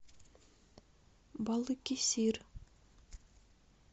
балыкесир